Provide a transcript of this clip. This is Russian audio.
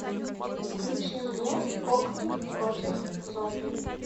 включи мне кокни против зомби